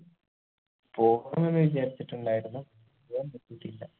പോകണംന്ന് വിചാരിച്ചിട്ടുണ്ടായിരുന്നു പോകാൻ പറ്റിയിട്ടില്ല